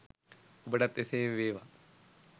ඔබටත් එසේම වේවා!